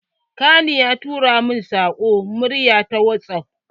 Ƙani na ya tura min saƙon murya ta whatsaff